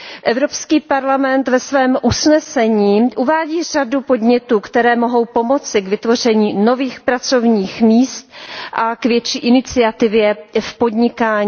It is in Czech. Evropský parlament ve svém usnesení uvádí řadu podnětů, které mohou pomoci k vytvoření nových pracovních míst a k větší iniciativě v podnikání.